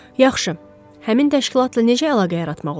Yaxşı, həmin təşkilatla necə əlaqə yaratmaq olar?